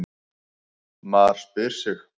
MAR SPYR SIG!